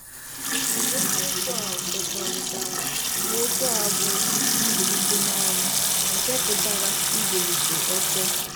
Eziokwu a kwekọrịtara n'okwu a bụ "mbilite n'ọnwụ," nke pụtara "ibilite ọtọ".